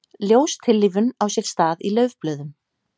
Ljóstillífun á sér stað í laufblöðum.